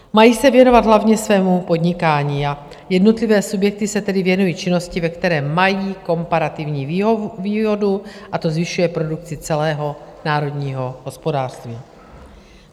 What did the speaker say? Mají se věnovat hlavně svému podnikání a jednotlivé subjekty se tedy věnují činnosti, ve které mají komparativní výhodu, a to zvyšuje produkci celého národního hospodářství.